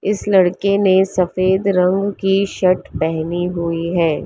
इस लड़के ने सफेद रंग की शर्ट पहनी हुई है।